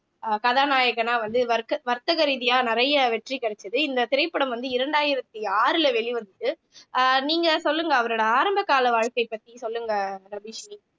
அஹ் கதாநாயகனாக வந்து வர்க்க வர்த்தக ரீதியா நிறைய வெற்றி கிடைச்சது இந்த திரைப்படம் வந்து இரண்டாயிரத்தி ஆறுல வெளிவந்தது அஹ் நீங்க சொல்லுங்க அவரோட ஆரம்பகால வாழ்க்கை பத்தி சொல்லுங்க ரபிஷினி